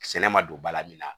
Sɛnɛ ma don ba la min na